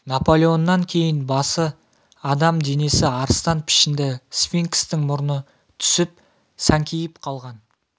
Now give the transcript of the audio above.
наполеоннан кейін басы адам денесі арыстан пішінді сфинкстің мұрны түсіп сәңкиіп қалған